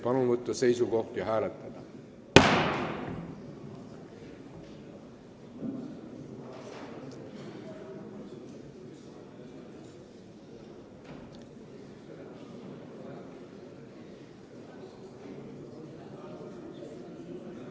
Palun võtta seisukoht ja hääletada!